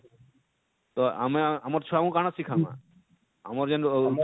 ତ ଆମେ ଆମର ଛୁଆ ମାନକୁ କାଣା ଶିଖାମା ଆମର ଯେନ?